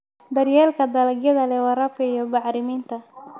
Daryeelka dalagyada leh waraabka iyo bacriminta.